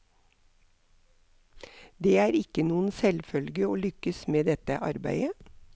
Det er ikke noen selvfølge å lykkes med dette arbeidet.